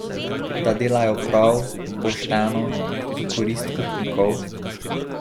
Da delajo prav, pošteno, v korist upnikov?